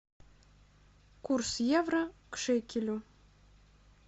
курс евро к шекелю